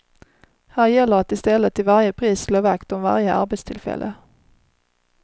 Här gäller att i stället till varje pris slå vakt om varje arbetstillfälle.